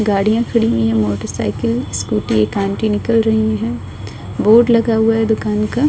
गाडियां खड़ी हुई हैं मोटर साइकिल स्कूटी । एक आंटी निकल रही हैं। बोर्ड लगा हुआ है दुकान का।